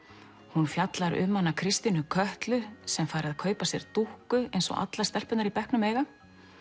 hún fjallar um Kristínu Kötlu sem fær að kaupa sér dúkku eins og allar stelpurnar í bekknum eiga